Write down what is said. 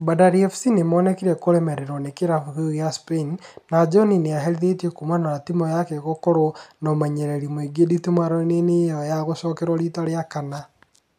Bandari FC nĩmonekire kũremererwo nĩ kĩrabu kĩu gĩa Spain na John nĩaherithirio kumana na timũ yake gũkorwo na ũmenyereri mũingi nditimũrano-inĩ ĩyo ya gũcokewo rita rĩa kana